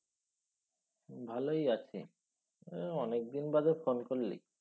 ভালই আছি। এ অনেকদিন বাদে phone করলি।